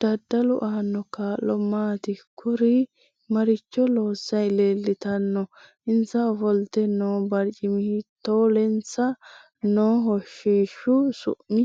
Daddalu aano kaa'lo maati kuri maricho loosanni leelttanno insa ofolte noo barcimi hiitoohoulensa noo hoshishu su'mi